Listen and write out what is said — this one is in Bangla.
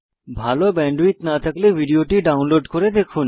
ভাল ব্যান্ডউইডথ না থাকলে আপনি ভিডিও টি ডাউনলোড করে দেখুন